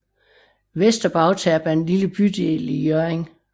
Vester Bagterp er en lille bydel i Hjørring